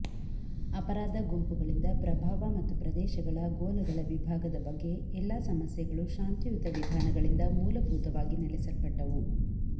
ಅಪರಾಧ ಗುಂಪುಗಳಿಂದ ಪ್ರಭಾವ ಮತ್ತು ಪ್ರದೇಶಗಳ ಗೋಲಗಳ ವಿಭಾಗದ ಬಗ್ಗೆ ಎಲ್ಲಾ ಸಮಸ್ಯೆಗಳು ಶಾಂತಿಯುತ ವಿಧಾನಗಳಿಂದ ಮೂಲಭೂತವಾಗಿ ನೆಲೆಸಲ್ಪಟ್ಟವು